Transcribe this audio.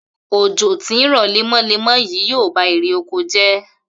Òjò tí ń rò̩ lémo̩lémo̩ yìí ýóò ba irè oko jé̩